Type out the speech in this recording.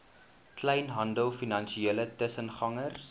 kleinhandel finansiële tussengangers